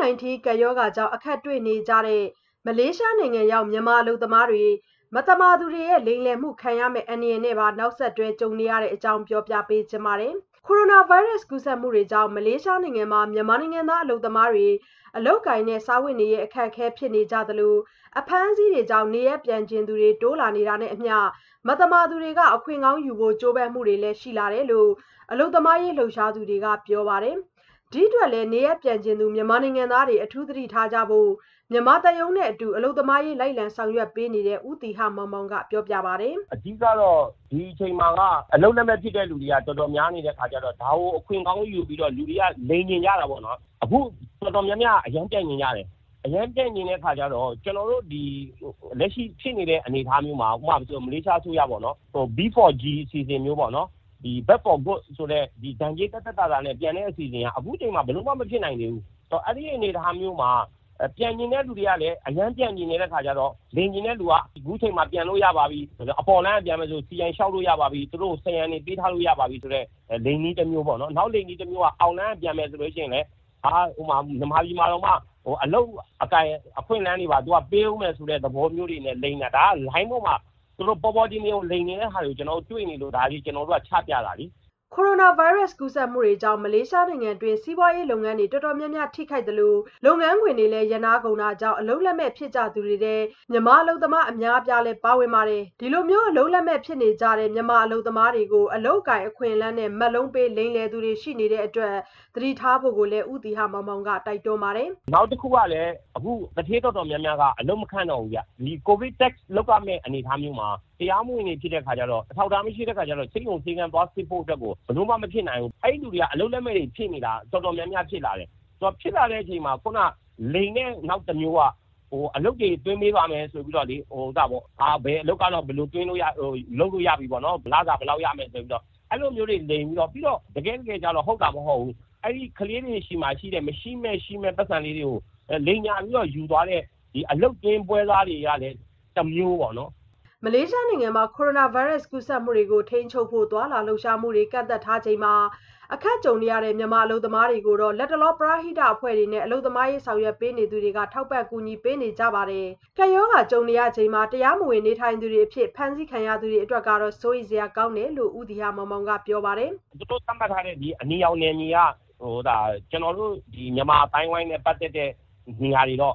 -19 ကပ်ရောဂါကြောင့် အခက်တွေ့နေကြတဲ့ မလေးရှားနိုင်ငံရောက် မြန်မာအလုပ်သမားတွေ မသမာသူတွေရဲ့ လိမ်လည်မှုခံရမယ့် အန္တရာယ်နဲ့ပါ နောက်ဆက်တွဲ ကြုံနေရပါတယ်။ အပြည့်အစုံကို မဆုမွန်က ဆက်သွယ်မေးမြန်း တင်ပြထားပါတယ်။ ကိုရိုနာဗိုင်းရပ်စ် ကူးစက်မှုတွေကြောင့် မလေးရှားနိုင်ငံမှာ မြန်မာနိုင်ငံသား အလုပ်သမားတွေ အလုပ်အကိုင်နဲ့ စားဝတ်နေရေး အခက်အခဲ ဖြစ်နေကြသလို အဖမ်းအဆီးတွေကြောင့် နေရပ်ပြန်ချင်သူတွေ တိုးလာနေတာနဲ့အမျှ မသမာသူတွေက အခွင့်ကောင်းယူဖို့ ကြိုးပမ်းမှုတွေလည်း ရှိလာတယ်လို့ အလုပ်သမားရေး လှုပ်ရှားသူတွေက ပြောပါတယ်။ ဒီအတွက်လည်း နေရပ်ပြန်ချင်သူ မြန်မာနိုင်ငံသားတွေ အထူးသတိထားကြဖို့ မြန်မာသံရုံးနဲ့အတူ အလုပ်သမားရေး လိုက်လံဆောင်ရွက်ပေးနေတဲ့ ဦးသီဟမောင်မောင်က ပြောပါတယ်။ “အဓိကကတော့ ဒီအချိန်မှာက အလုပ်လက်မဲ့ ဖြစ်တဲ့သူတွေက တော်တော်များနေတဲ့ အခါကျတော့ ဒါကို အခွင့်ကောင်းယူပြီးတော့ လူတွေက လိမ်ချင်ကြတာပေါ့နော်။ အခု တော်တော်များများက အရမ်းကို ပြန်ချင်ကြတယ်။ အခုလက်ရှိဖြစ်နေတဲ့ အနေအထားမျိုးမှာ မလေးရှားအစိုးရက လုပ်ပေးတဲ့ တရားမဝင် အလုပ်သမားတွေ ဒဏ်ကြေးသက်သက်သာသာနဲ့ ပြန်လို့ရမယ့် B4G (Back For Good) အစီအစဉ်ကလည်း အခုအချိန်မှာ ဘယ်လိုမှ မဖြစ်နိုင်သေးဘူး။ “ဒါပေမယ့် အဲ့လိုအနေအထားမှာ ပြန်ချင်သူက အရမ်းပြန်ချင်တဲ့ အခါကျတော့ လိမ်တဲ့သူတွေက အခုအချိန်မှာ ပြန်လို့ရပါပြီ၊ အပေါ်လမ်းက ပြန်မယ်ဆိုလည်း CI (Citizen of Identification) လျှောက်လို့ရပါပြီ၊ စရံငွေတွေ ပေးထားလို့ရပါပြီဆိုတဲ့ ဒါက လိမ်နည်းတမျိုးပေါ့နော်။ အောက်လမ်းက ပြန်မယ်ဆိုလည်း စီစဉ်ပေးမယ်၊ မြန်မာပြည် ပြန်ရောက်ရင်တောင် အလုပ်အကိုင် အခွင့်အလမ်းတွေ ရပါပြီဆိုတဲ့ သဘောမျိုး လိုင်းပေါ်မှာ ဒါ ပေါ်ပေါ်တင်တင်ကို လိမ်တဲ့ဟာတွေ တွေ့နေလို့ အထူးသတိထားကြဖို့ ကျနော်တို့က ချပြတာပါ။” ကိုရိုနာဗိုင်းရပ်စ် ကူးစက်မှုတွေကြောင့် မလေးရှားနိုင်ငံတွင်း စီးပွားရေးလုပ်ငန်းတွေ တော်တော်များများ ထိခိုက်သလို လုပ်ငန်းခွင်တွေလည်း ရပ်နားကုန်တာကြောင့် အလုပ်လက်မဲ့ ဖြစ်ကြသူတွေထဲ မြန်မာအလုပ်သမား အများအပြားလည်း ပါဝင်ပါတယ်။ ဒီလို အလုပ်လက်မဲ့ ဖြစ်နေကြတဲ့ မြန်မာအလုပ်သမားတွေကို အလုပ်အကိုင် အခွင့်အလမ်းနဲ့ မက်လုံးပေး လိမ်လည်သူတွေ ရှိနေတဲ့အတွက် သတိထားဖို့လည်း ဦးသီဟမောင်မောင်က တိုက်တွန်းပါတယ်။ “နောက်တခုက အခု ကိုဗစ်ဖြစ်ချိန် သူဌေးတော်တော်များများက အလုပ်တော်တော်များများက ရပ်ပြီး အလုပ်သမားတွေလည်း မခန့်တော့ဘူး။ အထူးသဖြင့် ကိုဗစ် Test လုပ်ရမှာမျိုးဆိုတော့ တရားမဝင် အလုပ်သမားတွေ ဆေးရုံဆေးခန်းသွားဖို့ ဘယ်လိုမှ မဖြစ်နိုင်တော့ဘူး။ အဲ့လိုလူတွေ အလုပ်လက်မဲ့တွေ တော်တော်များများ ဖြစ်လာနေကြတယ်။ အဲ့လိုဖြစ်နေပါတယ်ဆိုမှ လိမ်တဲ့နောက်တမျိုးက တိုးလာပြီး အလုပ်တွေ သွင်းပေးပါမယ်ဆိုပြီး ဘယ်အလုပ်ကတော့ လုပ်လို့ရတယ်၊ လစာဘယ်လောက်ရမယ်ဆိုပြီး အဲ့လိုမျိုးတွေ လိမ်ပြီးတော့၊ တကယ့်တကယ်လည်းကျရော မဟုတ်ဘဲနဲ့ အလုပ်သမားလေးတွေဆီက မရှိမဲ့ရှိမဲ့ အလုပ်သွင်း ပွဲစားတွေကလည်း တမျိုးပေါ့နော်။” မလေးရှားနိုင်ငံမှာ ကိုရိုနာဗိုင်းရပ်စ် ကူးစက်မှုတွေကို ထိန်းချုပ်ဖို့ သွားလာလှုပ်ရှားမှုတွေ ကန့်သတ်ထားချိန်မှာ အခက်ကြုံနေရတဲ့ မြန်မာအလုပ်သမားတွေကိုတော့ လတ်တလောမှာ ပရဟိတအဖွဲ့တွေနဲ့ အလုပ်သမားရေး ဆောင်ရွက်ပေးနေသူတွေက ထောက်ပံ့ ကူညီပေးနေကြတာပါ။ ကပ်ရောဂါကြုံရချိန်မှာ တရားမဝင် နေထိုင်သူတွေအဖြစ် ဖမ်းဆီးခံရသူတွေ အတွက်ကတော့ စိုးရိမ်စရာကောင်းတယ်လို့ ဦးသီဟမောင်မောင်က ပြောပါတယ်။ “အခု သူတို့က အနီရောင်သတ်မှတ်ထားတဲ့ မြန်မာတွေ အနေများတဲ့ အဲ့ဒီ့နေရာတွေမှာ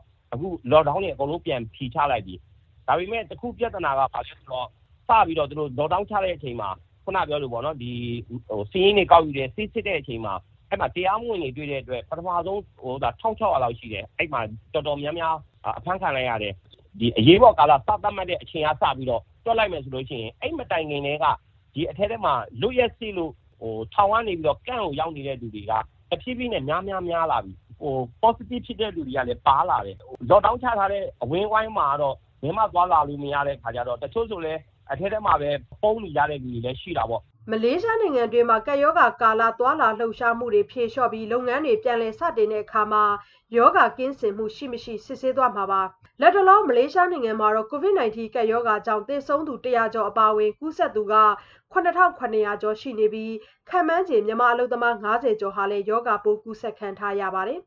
Lock Down စဖြေပေးနေပြီ။ ဒါပေမယ့် ပြဿနာက ဘာလဲဆိုတော့ Lock Down ချပြီး စာရင်းတွေကောက်တဲ့အချိန်မှာ တရားမဝင် နေထိုင်သူတွေ တွေ့တော့ ဖမ်းတာ ၁,၆၀၀ လောက်ရှိနေတယ်။ အဲ့မှာ တော်တော်များများ အဖမ်းခံလိုက်ရတာ ရှိတယ်။ ကမ့်ပ်တွေထဲမှာ လွတ်ရက်ပြည့်တဲ့သူရော အဖမ်းခံရတဲ့သူရော အရေးပေါ်ကာလ ကမ့်ပ်တွေထဲ အရမ်းများလာတဲ့ အနေအထားဖြစ်နေတာ စိုးရိမ်စရာဖြစ်တယ်။ ပေါ့စတစ်ဖြစ်တဲ့သူတွေလည်း ပါလာတယ်။ အခုတော့ Lock Down ချထားတဲ့နေရာမှာ တချို့ ပုန်းနေကြဆဲသူတွေလည်း ရှိတယ်။ လောလောဆယ်တော့ ရှောင်ပြီးနေနေကြတဲ့သူတွေ များလာတယ်။” မလေးရှားနိုင်ငံတွင်း ကပ်ရောဂါကာလ သွားလာလှုပ်ရှားမှုတွေကို ဖြေလျှော့ပြီး လုပ်ငန်းတွေ ပြန်လည်စတင်တဲ့အခါ ရောဂါကင်းစင်မှု ရှိ-မရှိ စစ်ဆေးသွားမှာပါ။ လတ်တလော မလေးရှားနိုင်ငံမှာတော့ COVID-19 ကပ်ရောဂါကြောင့် သေဆုံးသူ ၁၀၀ ကျော် အပါအဝင် ကူးစက်သူ ၇,၇၀၀ ကျော် ရှိနေပြီး ခန့်မှန်းချေ မြန်မာအလုပ်သမား ၅၀ ကျော်ဟာလည်း ရောဂါပိုး ကူးစက်ခံထားရပါတယ်